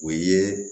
O ye